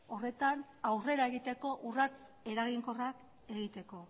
horretan aurrera egiteko urrats eraginkorrak egiteko